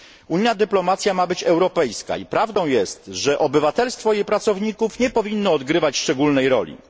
Unijna dyplomacja ma być europejska i prawdą jest, że obywatelstwo jej pracowników nie powinno odgrywać szczególnej roli.